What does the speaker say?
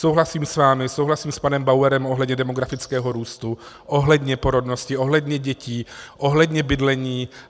Souhlasím s vámi, souhlasím s panem Bauerem ohledně demografického růstu, ohledně porodnosti, ohledně dětí, ohledně bydlení.